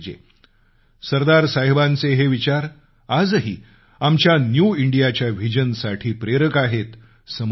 सरदार साहेबांचे हे विचार आजही आमच्या न्यू इंडियाच्या व्हीजनसाठी प्रेरक आहेत समयोचित आहेत